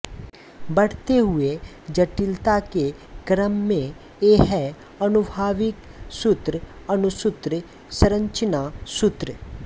बढ़ते हुए जटिलता के क्रम में ये हैं आनुभविक सूत्र अणुसूत्र संरचना सूत्र